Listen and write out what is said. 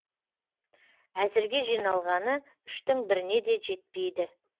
әзірге жиналғаны үштің біріне де жетпейді